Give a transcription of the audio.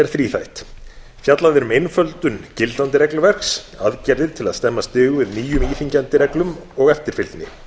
þríþætt fjallað er um einföldun gildandi regluverks aðgerðir til að stemma stigu við nýjum íþyngjandi reglum og eftirfylgni